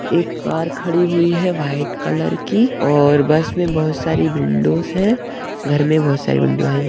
एक कार खड़ी हुई है वाइट कलर की और बस में बहोत सारी विंडोज है घर में बहोत सारी विंडो है।